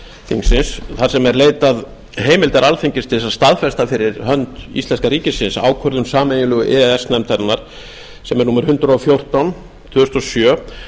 þingsins þar sem er leitað heimildar alþingis til þess að staðfesta fyrir hönd íslenska ríkisins ákvörðun sameiginlegu e e s nefndarinnar sem er númer hundrað og fjórtán tvö þúsund og sjö